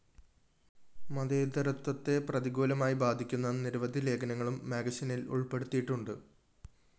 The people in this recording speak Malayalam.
മതേതരത്വത്തെ പ്രതികൂലമായി ബാധിക്കുന്ന നിരവധി ലേഖനങ്ങളും മാഗസിനില്‍ ഉള്‍പ്പെടുത്തിയിട്ടുണ്ട്